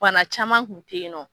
Bana caman kun ten yen nɔ.